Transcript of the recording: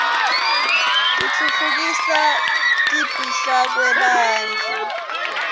titfutfukisa kipihlakwebantfu